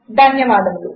ధన్యవాదములు